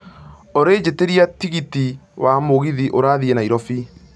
olly njiĩtiria tigiti wa mũgithi ũrathiĩ nairobi